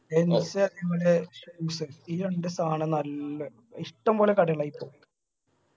gents അതെ പോലെ shoes ഈ രണ്ടു സാനം നല്ലെ ഇഷ്ടംപോലെ കടകളായി ആയിപോ